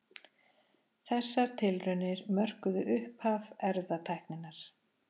Þessar tilraunir mörkuðu upphaf erfðatækninnar.